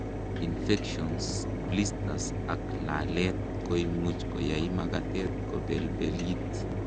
infections, blisters ak lalet koimuch koyai makatet kobelbelit